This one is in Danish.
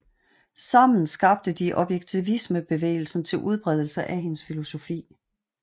Sammen skabte de objektivismebevægelsen til udbredelse af hendes filosofi